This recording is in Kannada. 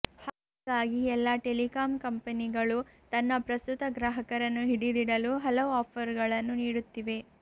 ಹಾಗಾಗಿ ಎಲ್ಲಾ ಟೆಲಿಕಾಂ ಕಂಪೆನಿಗಳು ತನ್ನ ಪ್ರಸ್ತುತ ಗ್ರಾಹಕರನ್ನು ಹಿಡಿದಿಡಲು ಹಲವು ಆಫರ್ ಗಳನ್ನು ನೀಡುತ್ತಿವೆ